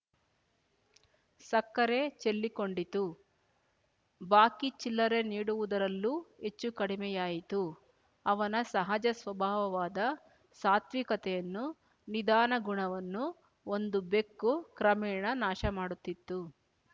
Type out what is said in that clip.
ಸಕ್ಕರೆ ಚೆಲ್ಲಿಕೊಂಡಿತು ಬಾಕಿ ಚಿಲ್ಲರೆ ನೀಡುವುದರಲ್ಲೂ ಹೆಚ್ಚುಕಡಿಮೆಯಾಯಿತು ಅವನ ಸಹಜ ಸ್ವಭಾವವಾದ ಸಾತ್ವಿಕತೆಯನ್ನೂ ನಿಧಾನಗುಣವನ್ನೂ ಒಂದು ಬೆಕ್ಕು ಕ್ರಮೇಣ ನಾಶ ಮಾಡುತ್ತಿತ್ತು